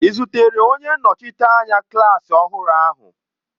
Ị zutere onye nnọchiteanya klaasị ọhụrụ ahụ?